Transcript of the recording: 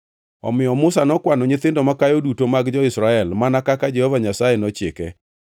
Omiyo Musa nokwano nyithindo makayo duto mag jo-Israel, mana kaka Jehova Nyasaye nochike.